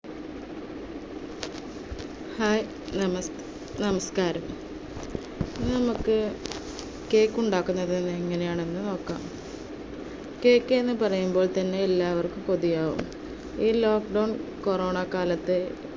hai നമസ്~ നമസ്കാരം, ഇന്ന് നമുക്ക് cake ഉണ്ടാക്കുന്നത് എങ്ങനെയാണ് നോക്കാം. cake എന്ന് പറയുമ്പോൾ തന്നെ എല്ലാവർക്കും കൊതിയാവും. ഈ lockdown corona കാലത്ത്,